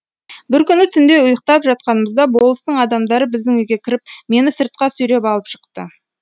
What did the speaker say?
бір күні түнде ұйықтап жатқанымызда болыстың адамдары біздің үйге кіріп мені сыртқа сүйреп алып шықты